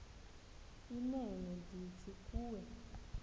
inene ndithi kuwe